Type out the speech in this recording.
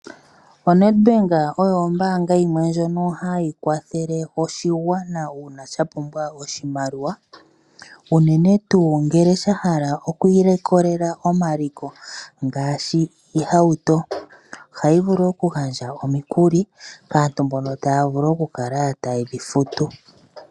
ONedbank oyo ombaanga yimwe lyono hayi kwathele oshigwana uuna shapumbwa oshimaliwa, uunene tuu ngele shahala okwiilikolela omaliko ngashi iihauto. Ohayi vulu wo okugandja omikuli kaantu mbono taya vulu okukala taye dhifutu.